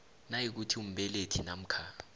nayikuthi umbelethi namkha